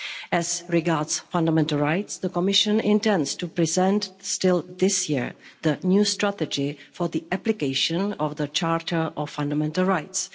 As regards fundamental rights, the Commission intends to present, still this year, the new strategy for the application of the Charter of Fundamental Rights.